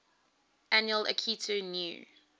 annual akitu new